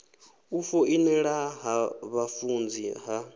u foinela ha vhafunzi ha